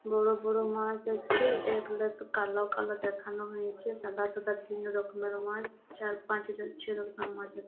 বড় বড় মাছ আছে এ গুলা কে কালো কালো দেখানো হয়েছে সাদা সাদা তিন রকমের মাছ চার পাঁচ ছ রকমের মাছ আছে |